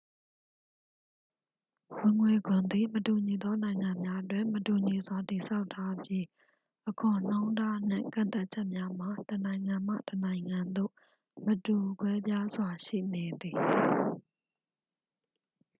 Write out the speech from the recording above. ဝင်ငွေခွန်သည် မတူညီသော နိုင်ငံများတွင် မတူညီစွာတည်ဆောက်ထားပြီး အခွန်နှုန်းထားနှင့် ကန့်သတ်ချက်များမှာ တစ်နိုင်ငံမှ တစ်နိုင်ငံ သို့မတူကွဲပြားစွာ ရှိနေသည်